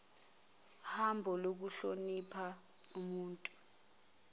hambo lokuhlonipha ubuntu